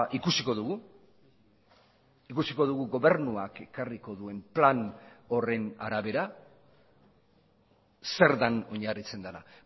ikusiko dugu ikusiko dugu gobernuak ekarriko duen plan horren arabera zer den oinarritzen dena